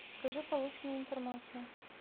скажи полученную информацию